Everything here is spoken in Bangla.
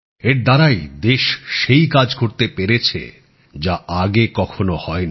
এর দ্বারাই দেশ সেই কাজ করতে পেরেছে যা আগে কখনো হয়নি